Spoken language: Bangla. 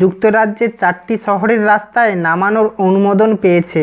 যুক্তরাজ্যের চারটি শহরের রাস্তায় নামানোর অনুমোদন পেয়েছে